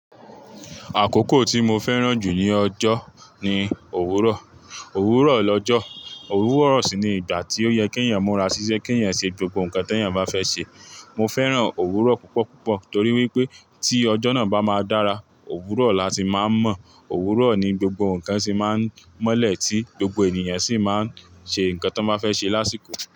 Àkókò tí mo fẹ́ràn jù ní ọjọ́ ni òwúrọ̀. Òwúrọ̀ lọ́jọ́, òwúrọ̀ sì ni ìgbà tí ó yẹ kí ènìyàn múra ṣiṣẹ́, kí ènìyàn ṣe gbogbo nǹkan tí ènìyàn bá fẹ́ ṣe. Mo fẹ́ràn òwúrọ̀ púpọ̀ púpọ̀ torí wípé tí ọjọ́ náà bá máa dára, òwúrọ̀ la ti máa ń mọ̀. Òwúrọ̀ ni gbogbo nǹkan sì máa ń mọ́lẹ̀ tí gbogbo ènìyàn sì máa ń ṣe nǹkan tí wọ́n bá fẹ́ ṣe lásìkò.